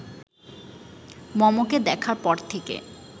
মমকে দেখার পর থেকে